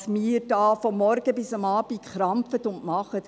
Was wir hier von morgens bis abends schaffen und tun.